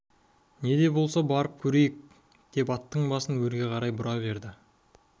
не де болса барып көрейік деп аттың басын өрге қарай бұра берді